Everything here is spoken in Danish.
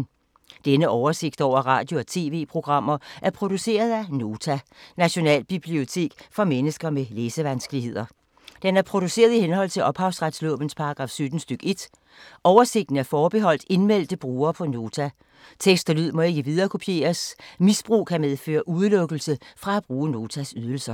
Denne oversigt over radio og TV-programmer er produceret af Nota, Nationalbibliotek for mennesker med læsevanskeligheder. Den er produceret i henhold til ophavsretslovens paragraf 17 stk. 1. Oversigten er forbeholdt indmeldte brugere på Nota. Tekst og lyd må ikke viderekopieres. Misbrug kan medføre udelukkelse fra at bruge Notas ydelser.